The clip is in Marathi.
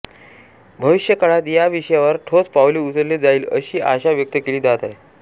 भविष्यकाळात या विषयावर ठोस पाऊले उचलले जाईल अशी आशा व्यक्त केली जात आहे